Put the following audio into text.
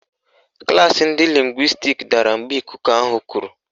Klaasị ndị lịngwịstiks dara mgbe ikuku ahụ kuru.